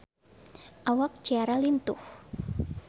Awak Ciara lintuh